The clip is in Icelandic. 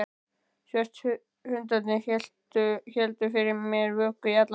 Svörtu hundarnir héldu fyrir mér vöku í alla nótt.